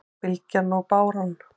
Bylgjan og báran